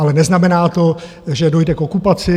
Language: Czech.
Ale neznamená to, že dojde k okupaci.